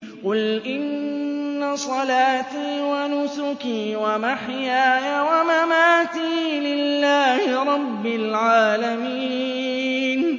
قُلْ إِنَّ صَلَاتِي وَنُسُكِي وَمَحْيَايَ وَمَمَاتِي لِلَّهِ رَبِّ الْعَالَمِينَ